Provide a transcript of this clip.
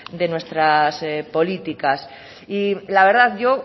de nuestras políticas y la verdad yo